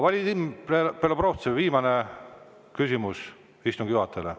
Vadim Belobrovtsev, viimane küsimus istungi juhatajale.